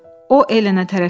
O Elenə tərəf getdi.